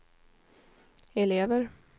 elever